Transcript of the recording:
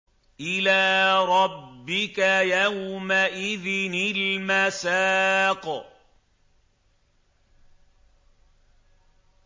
إِلَىٰ رَبِّكَ يَوْمَئِذٍ الْمَسَاقُ